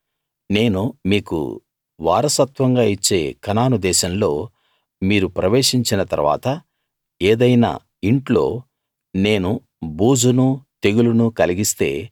నేను మీకు వారసత్వంగా ఇచ్చే కనాను దేశంలో మీరు ప్రవేశించిన తరువాత ఏదైనా ఇంట్లో నేను బూజునూ తెగులునూ కలిగిస్తే